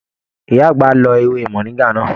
Ìyá àgbà lọ ewé moringa náà.